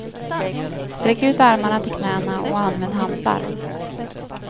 Sträck ut armarna till knäna och använd hantlar.